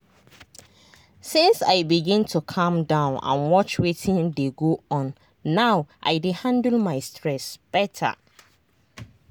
since i begin to calm down and watch wetin dey go on now i dey handle my stress better.